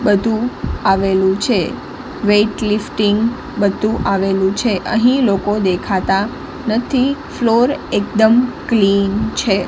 બધું આવેલું છે વેઇટ લિફ્ટિંગ બધું આવેલું છે અહીં લોકો દેખાતા નથી ફ્લોર એકદમ ક્લીન છે.